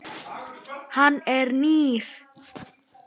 Hann er nýr.